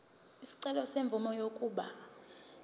isicelo semvume yokuba